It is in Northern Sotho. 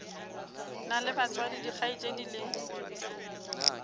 na le batswadi dikgaetšedi le